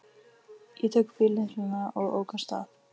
Ég tók bíllyklana og ók af stað.